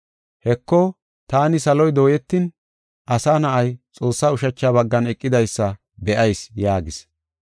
“Heko, taani saloy dooyetin, Asa Na7ay, Xoossaa ushacha baggan eqidaysa be7ayis” yaagis.